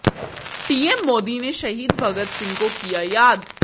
PM Modi ने शहीद भगत सिंह को किया याद